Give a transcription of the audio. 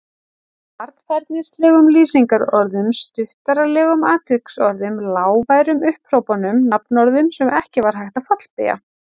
Varfærnislegum lýsingarorðum, stuttaralegum atviksorðum, lágværum upphrópunum, nafnorðum sem ekki var hægt að fallbeygja.